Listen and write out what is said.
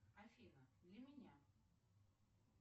афина для меня